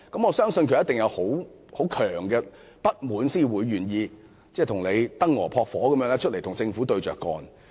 我相信，他一定有很強烈的不滿，才願意猶如燈蛾撲火，公開與政府對着幹。